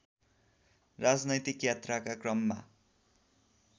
राजनैतिक यात्राका क्रममा